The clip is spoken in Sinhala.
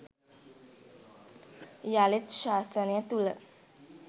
යළිත් ශාසනය තුළ